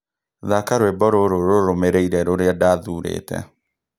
Thaka rwĩmbo rũrũ rũrũmĩrĩire ũrĩa ndathuurĩte